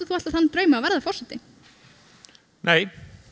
alltaf þann draum að verða forseti nei